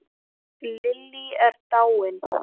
Lillý er dáin.